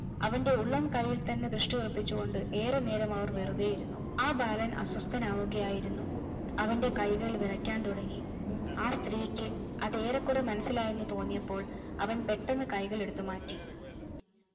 അവന്റെ ഉള്ളം കയ്യിൽ തന്നെ ദൃഷ്‌ടി ഉറപ്പിച്ചുകൊണ്ട് ഏറെ നേരം അവർ വെറുതെ ഇരുന്നു ആ ബാലൻ അസ്വസ്ഥനാവുകയായിരുന്നു അവന്റെ കൈകൾ വിറയ്ക്കാൻ തുടങ്ങി ആ സ്ത്രീക്ക് അതേറെകൊറേ മനസ്സിലായി എന്നു തോന്നിയപ്പോൾ അവൻ പെട്ടെന്നു കൈകളെടുത്തു മാറ്റി